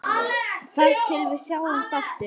Grimmt haglél garminn bítur.